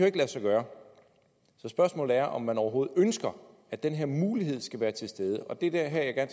ikke lade sig gøre så spørgsmålet er om man overhovedet ønsker at den her mulighed skal være til stede og det er her jeg